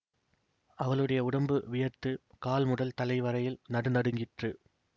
அவளுடைய உடம்பு வியர்த்து கால் முதல் தலை வரையில் நடுநடுங்கிற்று